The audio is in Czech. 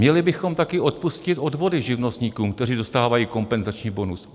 Měli bychom taky odpustit odvody živnostníkům, kteří dostávají kompenzační bonus.